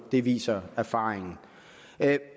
det viser erfaringen